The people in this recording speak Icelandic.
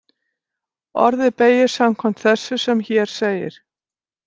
Orðið beygist samkvæmt þessu sem hér segir: